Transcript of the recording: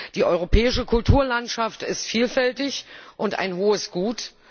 Die europäische Kulturlandschaft ist vielfältig und ein hohes Gut.